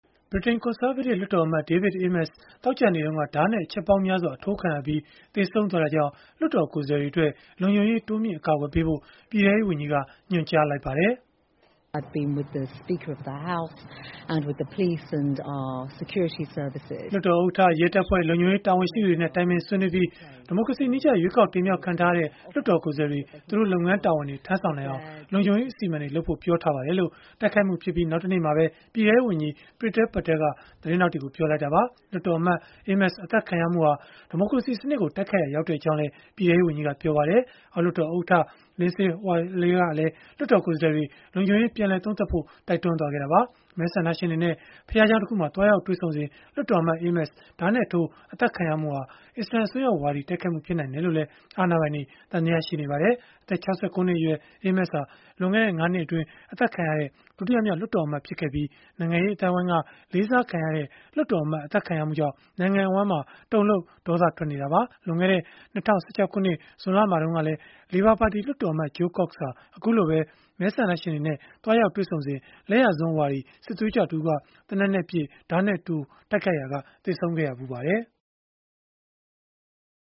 ဗြိတိန် ကွန်ဆာဗေးတစ် လွှတ်တော်အမတ် David Amess သောကြာနေ့တုန်းက ဓားနဲ့ အချက်ပေါင်းများစွာ အထိုးခံရပြီး သေဆုံးသွားတာကြောင့် လွှတ်တော်ကိုယ်စားလှယ်တွေအတွက် လုံခြုံရေး တိုးမြှင့် အကာအကွယ်ပေးဖို့ ပြည်ထဲရေးဝန်ကြီးက ညွှန်ကြားလိုက်ပါတယ်။ “လွှတ်တော်ဥက္ကဋ္ဌ၊ ရဲတပ်ဖွဲ့၊ လုံခြုံရေး တာဝန်ရှိသူတွေနဲ့ တိုင်ပင်ဆွေးနွေးပြီး ဒီမိုကရေစီနည်းကျ ရွေးကောက်တင်မြှောက်ခံထားရတဲ့ လွှတ်တော်ကိုယ်စားလှယ်တွေ သူတို့လုပ်ငန်းတာဝန်တွေ ထမ်းဆောင်နိုင်အောင် လုံခြုံရေးအစီအမံတွေ လုပ်ဖို့ ပြောထားပါတယ်။” လို့ တိုက်ခိုက်မှုဖြစ်ပြီး နောက်တနေ့မှာပဲ ပြည်ထဲရေးဝန်ကြီး Priti Patel က သတင်းထောက်တွေကို ပြောလိုက်တာပါ။ လွှတ်တော်အမတ် Amess အသတ်ခံရမှုဟာ ဒီမိုကရေစီစနစ်ကို တိုက်ခိုက်ရာ ရောက်ကြောင်းလည်း ပြည်ထဲရေးဝန်ကြီးက ပြောပါတယ်။ အောက်လွှတ်တော်ဥက္ကဋ္ဌ Lindsay Hoyle ကလည်း လွှတ်တော်ကိုယ်စားလှယ်တွေ လုံခြုံရေး ပြန်လည်သုံးသပ်ဖို့ တိုက်တွန်းခဲ့တာပါ။ မဲဆန္ဒရှင်တွေနဲ့ ဘုရားကျောင်းတခုမှာ သွားရောက်တွေ့ဆုံစဉ် လွှတ်တော်အမတ် Amess ဓားနဲ့ထိုး အသတ်ခံရမှုဟာ အစ္စလာမ် အစွန်းရောက်ဝါဒီ တိုက်ခိုက်မှု ဖြစ်နိုင်တယ်လို့လည်း အာဏာပိုင်တွေ သံသယရှိနေပါတယ်။ အသက် ၆၉ နှစ်အရွယ် Amess ဟာ လွန်ခဲ့တဲ့ ၅ နှစ်အတွင်း အသတ်ခံရတဲ့ ဒုတိယမြောက် လွှတ်တော်အမတ် ဖြစ်ခဲ့ပြီး နိုင်ငံရေးအသိုင်းအဝန်းက လေးစားခံရတဲ့ လွှတ်တော်အမတ် အသတ်ခံရမှုကြောင့် နိုင်ငံအဝန်းမှာ တုန်လှုပ် ဒေါသထွက်နေကြတာပါ။ လွန်ခဲ့တဲ့ ၂၀၁၆ ခုနှစ် ဇွန်လမှာတုန်းကလည်း လေဘာပါတီ လွှတ်တော်အမတ် Jo Cox ဟာ အခုလိုပဲ မဲဆန္ဒရှင်တွေနဲ့ သွားရောက်တွေ့ဆုံစဉ်မှာ လက်ယာစွန်းဝါဒီ စစ်သွေးကြွတဦးက သေနတ်နဲ့ပစ်၊ ဓားနဲ့ထိုး တိုက်ခိုက်ရာက သေဆုံးခဲ့ဖူးပါတယ်။